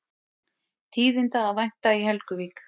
Tíðinda að vænta í Helguvík